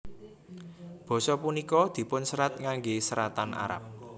Basa punika dipunserat ngangge seratan Arab